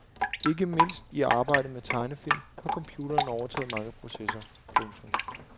Ikke mindst i arbejdet med tegnefilm har computeren overtaget mange processer. punktum